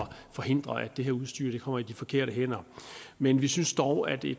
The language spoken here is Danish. forhindre at det her udstyr kommer i de forkerte hænder men vi synes dog at det